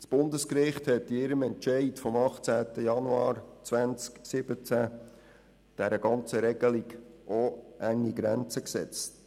Das Bundesgericht hat in seinem Entscheid vom 18. Januar 2017 der ganzen Regelung auch enge Grenzen gesetzt.